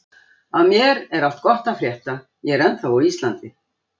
Af mér er allt gott að frétta, ég er ennþá á Íslandi.